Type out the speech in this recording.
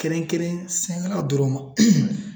Kɛrɛnkɛrɛn sɛnɛkɛlaw na dɔrɔn